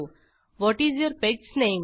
what is your pet's name